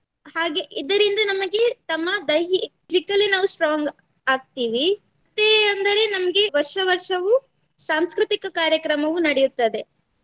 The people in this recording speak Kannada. ಹಾಗೆ ಇದರಿಂದ ನಮಗೆ ತಮ್ಮ ದೈಹಿಕಲಿ ನಾವು strong ಆಗ್ತೀವಿ ಮತ್ತೆ ಅಂದರೆ ನಮ್ಗ ವರ್ಷ ವರ್ಷವೂ ಸಾಂಸ್ಕೃತಿಕ ಕಾರ್ಯಕ್ರಮವು ನಡೆಯುತ್ತದೆ.